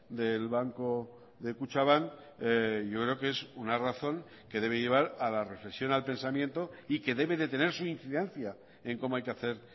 del banco de kutxabank yo creo que es una razón que debe llevar a la reflexión al pensamiento y que debe de tener su incidencia en cómo hay que hacer